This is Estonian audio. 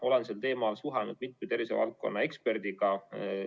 Olen sel teemal suhelnud mitme tervishoiuvaldkonna eksperdiga.